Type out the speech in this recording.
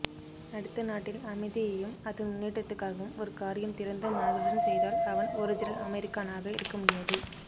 அடுத்த நாட்டில் அமைதியையும் அதன் முன்னேற்றத்துக்காகவும் ஒரு காரியம் திறந்த மனதுடன் செய்தால் அவன் ஒரிஜினல் அமெரிக்கான்னாக இருக்க முடியாது